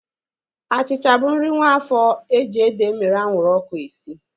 Achịcha bụ nri nwaafo eji ede emere anwụrụ ọkụ esi